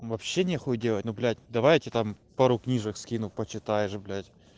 вообще нехуй делать ну блять давай я тебе там пару книжек скину почитаешь блять